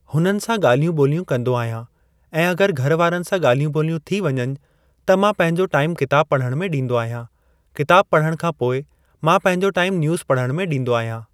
हुन्हनि सां ॻाल्हियूं ॿोलियूं कन्दो आहियां ऐं अगर घर वारनि सां ॻाल्हियूं ॿोलियूं थी वञनि त मां पंहिंजो टाईमु किताबु पढ़नि में ॾींदो आहियां, किताबु पढ़ण खां पोइ मां पंहिंजो टाईमु न्यूज़ पढ़ण में ॾींदो आहियां।